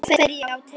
Þá fer ég á taugum.